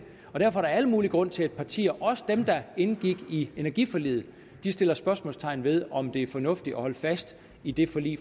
er der al mulig grund til at partier også dem der indgik i energiforliget sætter spørgsmålstegn ved om det er fornuftigt at holde fast i det forlig